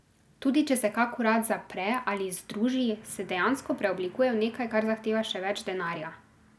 Tudi če se kak urad zapre ali združi, se dejansko preoblikuje v nekaj, kar zahteva še več denarja.